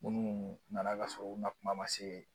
Munnu nana ka sɔrɔ u ma kuma ma se